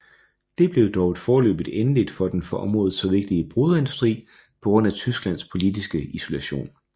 Det blev dog et foreløbigt endeligt for den for området så vigtige broderiindustri på grund af Tysklands politiske isolation